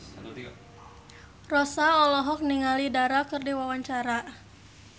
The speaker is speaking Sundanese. Rossa olohok ningali Dara keur diwawancara